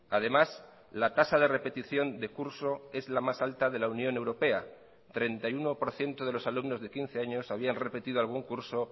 además la tasa de repetición de curso es la más alta de la unión europea el treinta y uno por ciento de los alumnos de quince años habían repetido algún curso